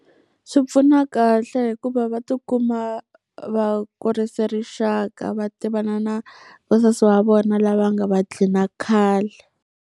Swi pfuna kahle hikuva va tikuma va kurise rixaka, va tivana na vasesi va vona lava nga va dlhina khale.